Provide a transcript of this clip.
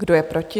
Kdo je proti?